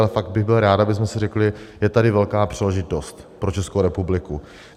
Ale fakt bych byl rád, abychom si řekli: Je tady velká příležitost pro Českou republiku.